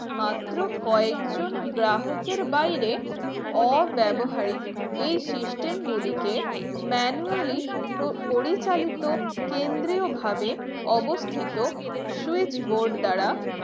মাত্র কয়েকজন গ্রাহকের বাইরে অব্যবহারীক এই system গুলিকে manually পরিচালিত কেন্দ্রীয়ভাবে অবস্থিত switch board দ্বারা